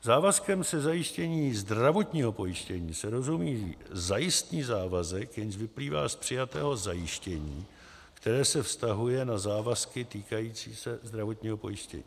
Závazkem ze zajištění zdravotního pojištění se rozumí zajistný závazek, jenž vyplývá z přijatého zajištění, které se vztahuje na závazky týkající se zdravotního pojištění.